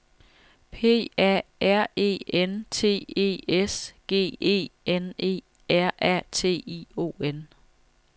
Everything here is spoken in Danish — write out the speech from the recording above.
P A R E N T E S G E N E R A T I O N